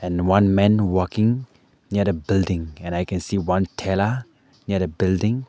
and one man walking near a building and i can see one thela near a building.